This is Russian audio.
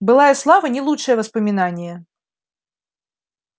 былая слава не лучшее воспоминание